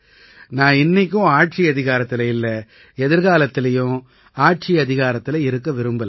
நான் இன்னைக்கும் ஆட்சியதிகாரத்தில இல்லை எதிர்காலத்திலயும் ஆட்சியதிகாரத்தில இருக்க விரும்பலை